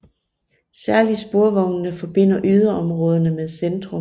Særlig sporvognene forbinder yderområderne med centrum